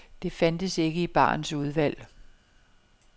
Det fandtes ikke i barens udvalg.